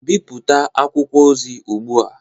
Bipụta akwụkwọ ozi ugbu a!